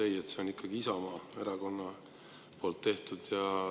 Ei, see on ikkagi Isamaa Erakonna tehtud.